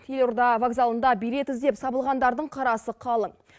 елорда вокзалында билет іздеп сабылғандардың қарасы қалың